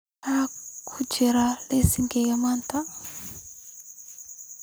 Maxaa ka jira liiska maanta?